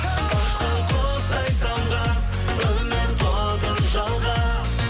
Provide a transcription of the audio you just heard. ұшқан құстай самға үміт отын жалға